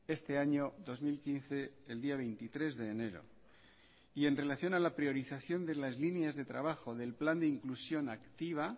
este año dos mil quince el día veintitrés de enero y en relación a la priorización de las líneas de trabajo del plan de inclusión activa